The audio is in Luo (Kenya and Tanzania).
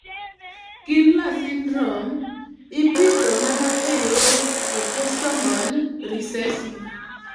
Kindler syndrome ipidho mana e yor autosomal recessive.